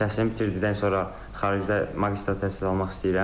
Təhsili bitirdikdən sonra xaricdə magistr təhsil almaq istəyirəm.